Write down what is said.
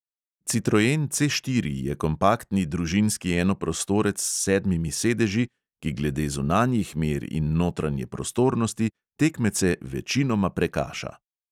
Citroen C štiri je kompaktni družinski enoprostorec s sedmimi sedeži, ki glede zunanjih mer in notranje prostornosti tekmece večinoma prekaša.